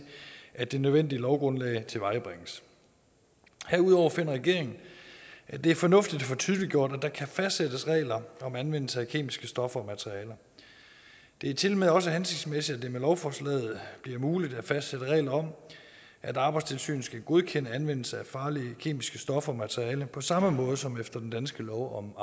at det nødvendige lovgrundlag tilvejebringes herudover finder regeringen at det er fornuftigt at få tydeliggjort at der kan fastsættes regler om anvendelse af kemiske stoffer og materialer det er tilmed også hensigtsmæssigt at det med lovforslaget bliver muligt at fastsætte regler om at arbejdstilsynet skal godkende anvendelsen af farlige kemiske stoffer og materialer på samme måde som efter den danske lov om